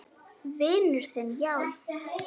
Vinur þinn, já?